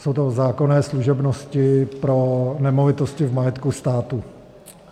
Jsou to zákonné služebnosti pro nemovitosti v majetku státu.